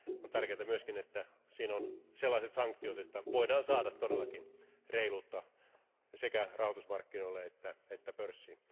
On tärkeää myös, että siinä on sellaiset sanktiot, että voidaan saada todellakin reiluutta sekä rahoitusmarkkinoille että pörssiin.